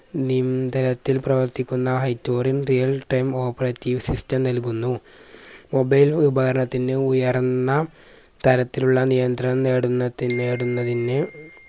നിന്തനത്തിൽ പ്രവർത്തിക്കുന്ന real time operative system നൽകുന്നു mobile ഉപകരണത്തിന്ന് ഉയർന്ന തരത്തിലുള്ള നിയന്ത്രണം നേടുന്നത്‌ നേടുന്നതിന്ന്